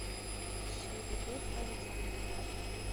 шайдабег александрович